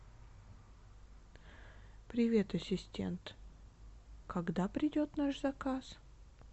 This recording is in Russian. привет ассистент когда придет наш заказ